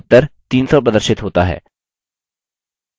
फिर से उत्तर 300 प्रदर्शित होता है